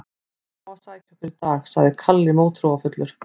Mamma á að sækja okkur í dag, sagði Kalli mótþróafullur.